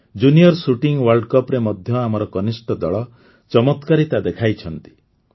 junior shooting ୱାର୍ଲଡକପ୍ରେ ମଧ୍ୟ ଆମର କନିଷ୍ଠ ଦଳ ଚମତ୍କାରିତା ଦେଖାଇଛନ୍ତି